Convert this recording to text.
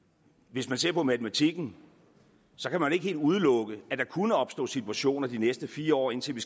hvis man ser på matematikken kan man ikke helt udelukke at der kunne opstå situationer de næste fire år indtil vi